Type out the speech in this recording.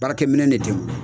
Baara kɛ minɛ de ten ye.